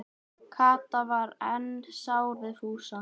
Kata var enn sár við Fúsa.